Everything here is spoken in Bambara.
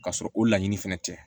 Ka sɔrɔ o laɲini fɛnɛ tɛ